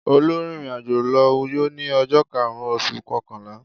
Olú rìnrìn-àjò lọ Uyo ní ọjọ́ karùn-ún oṣù kọkànlá.